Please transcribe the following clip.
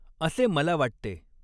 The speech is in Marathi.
असॆ मला वाटतॆ.